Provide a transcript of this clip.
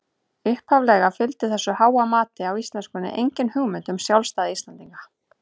Upphaflega fylgdi þessu háa mati á íslenskunni engin hugmynd um sjálfstæði Íslendinga.